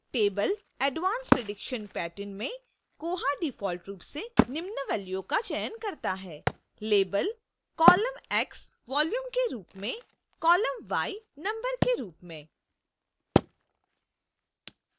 table advanced prediction pattern में koha default रूप से निम्न values का चयन करता है